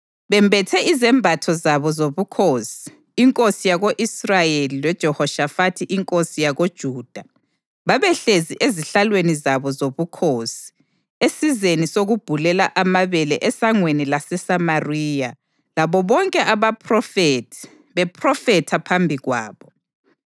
Bembethe izembatho zabo zobukhosi, inkosi yako-Israyeli loJehoshafathi inkosi yakoJuda babehlezi ezihlalweni zabo zobukhosi esizeni sokubhulela amabele esangweni laseSamariya labo bonke abaphrofethi bephrofetha phambi kwabo.